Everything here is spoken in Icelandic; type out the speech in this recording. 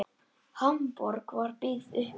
Hamborg var byggð upp aftur.